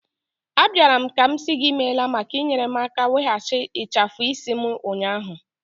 Abịara m ka m sị gị imela maka inyere m aka weghachi ịchafu isi m ụnyahụ.